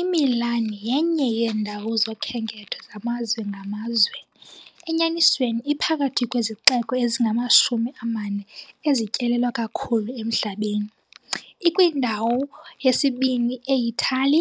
IMilan yenye yeendawo zokhenketho zamazwe ngamazwe, enyanisweni iphakathi kwezixeko ezingamashumi amane ezityelelwa kakhulu emhlabeni, ikwindawo yesibini e- Itali